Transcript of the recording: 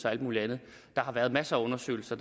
og al mulig andet der har været masser af undersøgelser